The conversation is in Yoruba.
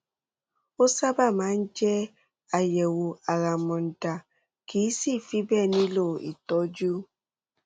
ó sábà máa ń jẹ àyẹwò àràmàǹdà kìí sì í fi bẹẹ nílò ìtọjú